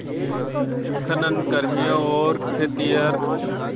खनन कर्मियों और खेतिहर